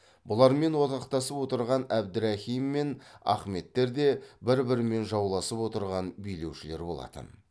бұлармен одақтасып отырған әбдірахим мен ахметтер де бір бірімен жауласып отырған билеушілер болатын